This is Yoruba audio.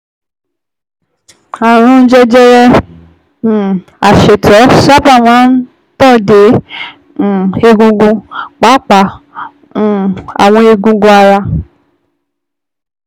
Ààrùn jẹjẹrẹ um asétọ̀ sábà máa ń tàn dé um egungun, pàápàá um àwọn eegun ara